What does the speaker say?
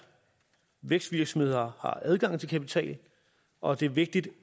vækstvirksomheder har adgang til kapital og det er vigtigt